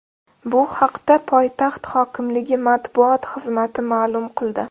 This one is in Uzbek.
Bu haqda poytaxt hokimligi matbuot xizmati ma’lum qildi.